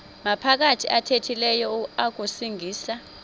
maphakathi athethileyo akusingisa